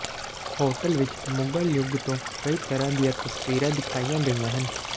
hotel ਵਿਚ ਮੁਗ਼ਲ ਯੁੱਗ ਤੋਂ ਕਈ ਤਰ੍ਹਾਂ ਦੀਆਂ ਤਸਵੀਰਾਂ ਦਿਖਾਈਆਂ ਗਈਆਂ ਹਨ